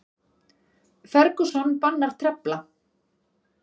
Ferguson bannar trefla